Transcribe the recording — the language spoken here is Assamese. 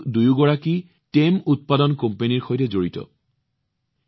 তেওঁলোক দুয়োগৰাকীয়ে টেম প্ৰডাকশ্যন কোম্পানী ৰ সৈতে জড়িত